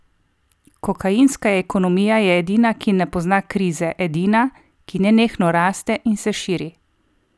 Kokainska ekonomija je edina, ki ne pozna krize, edina, ki nenehno raste in se širi.